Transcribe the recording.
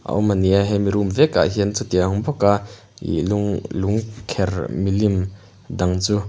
a awm a ni a hemi room vekah hian chutiang bawka ih lung lung kher milim dang chu.